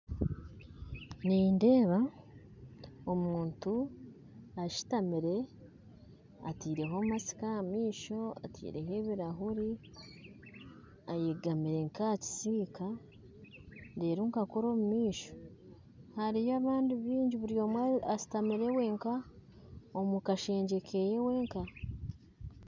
Nindeeba omuntu ashutamire ataireho masiki ah'amaisho ataireho ebirahuri ayegamire nk'aha kisiika reero nka kuriya omumaisho hariyo abandi baingi buri omwe ashutami wenka omu kashengye ke wenka